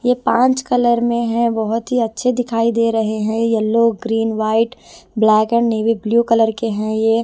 ये पांच कलर में है बहुत ही अच्छे दिखाई दे रहे हैं yellow green white black and navy blue colour के हैं ये--